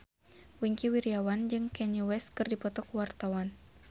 Wingky Wiryawan jeung Kanye West keur dipoto ku wartawan